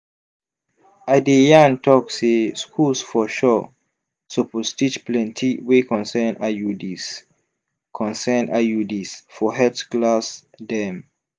i de yan tok say schools for sure suppose teach plenti wey concern iuds concern iuds for health class dem